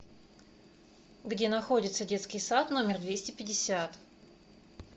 где находится детский сад номер двести пятьдесят